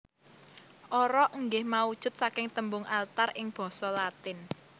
Ara inggih maujud saking tembung altar ing basa Latin